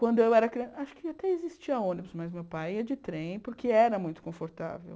Quando eu era criança, acho que até existia ônibus, mas meu pai ia de trem porque era muito confortável.